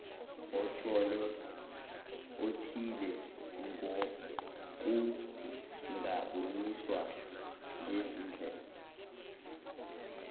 othile kungaboniswa ngezindlela